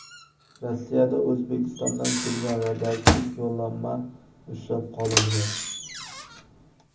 Rossiyada O‘zbekistondan kelgan radioaktiv yo‘llanma ushlab qolindi.